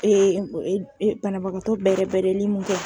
banabagatɔ bɛɛrɛbɛrɛli mun kɛ